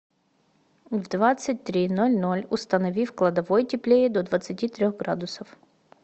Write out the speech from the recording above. в двадцать три ноль ноль установи в кладовой теплее до двадцати трех градусов